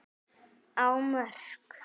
á Mörk.